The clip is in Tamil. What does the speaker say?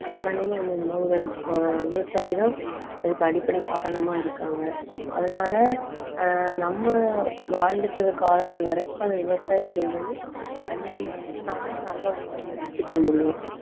காரணமே அந்த உணவுகள் ஆஹ் விவசாயிதான். அதுக்கு அடிப்படை காரணமா இருக்காங்க. அதனால ஆஹ் நம்ம வாழ்ந்துட்டு இருக்க காலங்கள் வரைக்கும் அந்த விவசாயம் சொல்றது அழியாம இருந்தா நம்மளும் நல்ல உணவு எல்லாம் எடுத்துக்க முடியும்